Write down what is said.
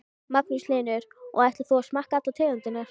Magnús Hlynur: Og ætlar þú að smakka allar tegundirnar?